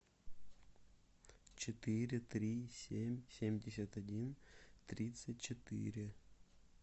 четыре три семь семьдесят один тридцать четыре